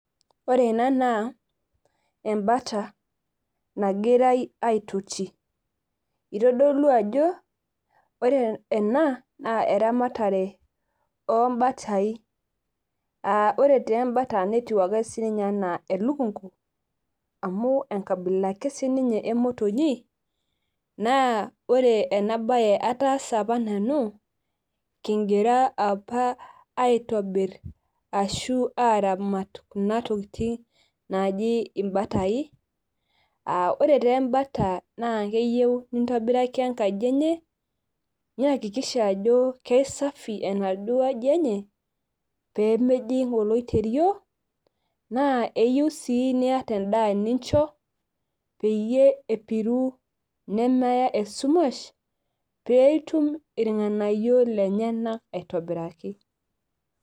ore ena naa ebata, nagirae aetoti otodolu ajo ore ena naa eramatare oobatai. ore taa ebata netiu ake sii ninye anaa elukunku, amu enkabila ake sii ninye emotonyi. naa ore ena bae ataasa apa nanu kigira apa aitobir arashu aaramat kuna tokitin naaji ibatai.aa ore taa ebata naa keyieu nintobiraki enkaji eneye. niyakikisha ajo kisafi enaduoo aji, enye pee mejing oloiterio, naa eyieu sii niyata endaa nincho ,peyie epiru nemeya esumash, pee itum irnganayio lenyenak aitobiraki.